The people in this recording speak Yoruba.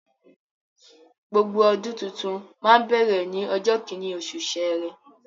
Gbogbo ọdún tuntun máa ń bẹ̀rẹ̀ ní ọjọ́ kíní, osù sẹrẹ